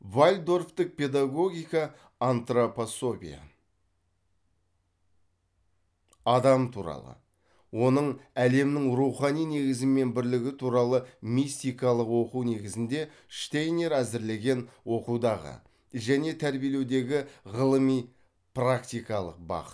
вальдорфтік педагогика адам туралы оның әлемнің рухани негізімен бірлігі туралы мистикалық оқу негізінде штейнер әзірлеген оқудағы және тәрбиелеудегі ғылыми практикалық бағыт